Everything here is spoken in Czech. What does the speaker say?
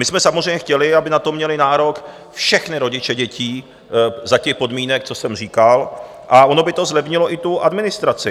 My jsme samozřejmě chtěli, aby na to měli nárok všichni rodiče dětí za těch podmínek, co jsem říkal, a ono by to zlevnilo i tu administraci.